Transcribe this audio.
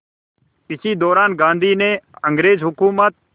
इसी दौरान गांधी ने अंग्रेज़ हुकूमत